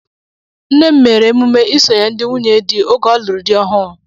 Nne m mere emume isonye ndị nwunye di oge ọlụrụ dị ọhụụ.